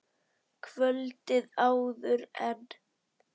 Kvöldið áður en